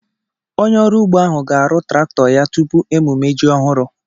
Onye ọrụ ugbo ahu ga-arụ traktọ ya tupu emumme ji ọhụrụ